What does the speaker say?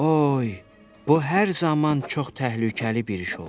Oy, bu hər zaman çox təhlükəli bir iş olub.